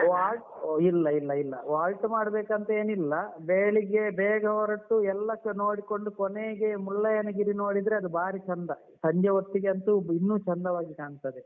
Halt ಇಲ್ಲ ಇಲ್ಲ halt ಮಾಡ್ಬೇಕಂತೇನಿಲ್ಲ, ಬೆಳಿಗ್ಗೆ ಬೇಗ ಹೊರಟು ಎಲ್ಲಸ ನೋಡ್ಕೊಂಡು ಕೊನೆಗೆ ಮುಳ್ಳಯ್ಯನಗಿರಿ ನೋಡಿದ್ರೆ ಅದು ಬಾರಿ ಚಂದ ಸಂಜೆ ಹೊತ್ತಿಗಂತೂ ಇನ್ನೂ ಚಂದವಾಗಿ ಕಾಣ್ತದೆ.